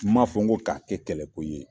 N m'a fɔ ko k'a kɛ kɛlɛko ye